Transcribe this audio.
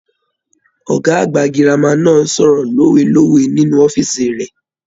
Ọgá àgbà gírámà náà sọ̀rọ̀ lowelowe nínú ọfíisi rẹ.